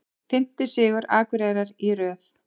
Fimmti sigur Akureyrar í röð